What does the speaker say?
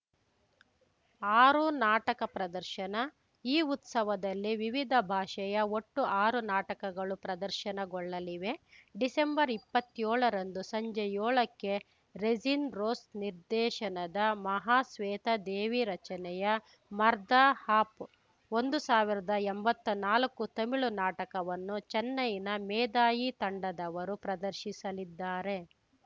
ಆರು ನಾಟಕ ಪ್ರದರ್ಶನ ಈ ಉತ್ಸವದಲ್ಲಿ ವಿವಿಧ ಭಾಷೆಯ ಒಟ್ಟು ಆರು ನಾಟಕಗಳು ಪ್ರದರ್ಶನಗೊಳ್ಳಲಿವೆ ಡಿಸೆಂಬರ್ಇಪ್ಪತ್ಯೋಳರಂದು ಸಂಜೆ ಯೋಳಕ್ಕೆ ರೆಜಿನ್‌ ರೋಸ್‌ ನಿರ್ದೇಶನದ ಮಹಾಶ್ವೇತಾ ದೇವಿ ರಚನೆಯ ಮರ್ದ ಆಪ್‌ ಒಂದು ಸಾವಿರದ ಎಂಬತ್ನಾಲ್ಕು ತಮಿಳು ನಾಟಕವನ್ನು ಚೆನ್ನೈನ ಮೇದಾಯಿ ತಂಡದವರು ಪ್ರದರ್ಶಿಸಲಿದ್ದಾರೆ